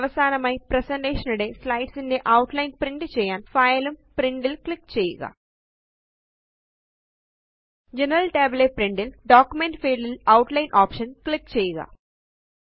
അവസാനമായി പ്രസന്റേഷൻ നിടെ സ്ലൈഡ്സ് ന്റെ ഔട്ട്ലൈന് പ്രിന്റ് ചെയ്യാന് ഫൈൽ ഉം പ്രിന്റ് ഉം ക്ലിക്ക് ചെയ്യുക ജനറൽ tab ലെ പ്രിന്റ് ല് ഡോക്യുമെന്റ് ഫീൽഡ് ല് ഔട്ട്ലൈൻ ഓപ്ഷൻ ക്ലിക്ക് ചെയ്യുക